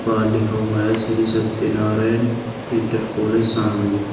बाहर लिखा हुआ है श्री सत्यनारायण इंटर कॉलेज शामली।